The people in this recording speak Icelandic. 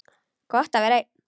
Gott er að vera einn.